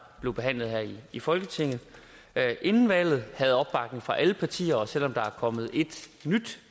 blev behandlet her i folketinget inden valget havde opbakning fra alle partier og selv om der er kommet et nyt